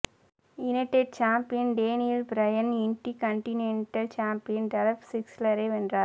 United champion Daniel Bryan intercontinental champion Dolph ஸிக்லரை வென்றார்